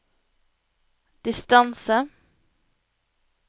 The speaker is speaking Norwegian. distance